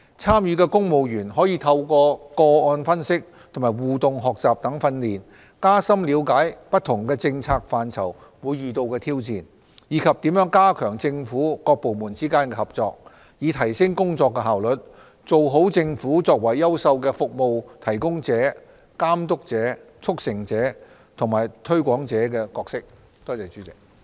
參與的公務員可透過個案分析和互動學習等訓練，加深了解不同政策範疇會遇到的挑戰，以及如何加強政府各部門之間的合作，以提升工作效率，做好政府作為優秀的服務提供者、監督者、促成者和推廣者的角色。